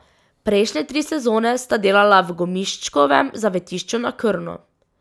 Prejšnje tri sezone sta delala v Gomiščkovem zavetišču na Krnu.